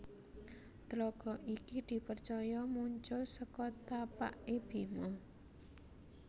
Tlaga iki di percaya muncul seko tapakke Bima